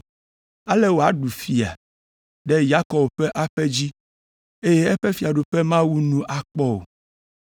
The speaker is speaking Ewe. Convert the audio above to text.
Ale wòaɖu fia ɖe Yakob ƒe aƒe dzi, eye eƒe fiaɖuƒe mawu nu akpɔ o.”